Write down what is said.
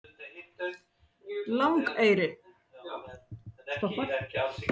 Langeyri